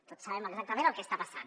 tots sabem exactament el que està passant